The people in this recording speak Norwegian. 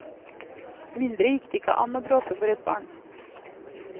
Mindre gikk det ikke an å bråke for et barn.